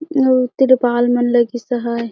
अउ त्रिपाल मन लगिस है।